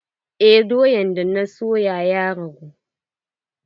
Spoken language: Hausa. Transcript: Eh doyan da na soya ya rage.